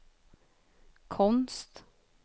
konst